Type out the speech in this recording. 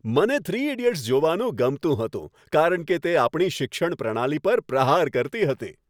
મને "three idiots" જોવાનું ગમતું હતું કારણ કે તે આપણી શિક્ષણ પ્રણાલી પર પ્રહાર કરતી હતી.